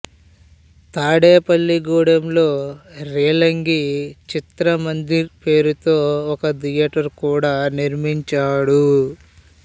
తాడేపల్లి గూడెంలో రేలంగి చిత్రమందిర్ పేరుతో ఒక థియేటర్ కూడా నిర్మించాడు